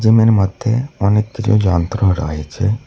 Gym -এর মধ্যে অনেক কিছু যন্ত্রও রয়েছে।